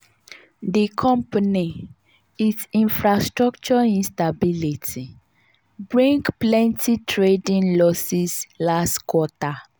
di company's it infrastructure instability bring plenty trading losses last quarter.